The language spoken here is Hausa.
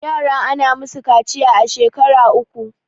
yara ana musu kaciya a shekar uku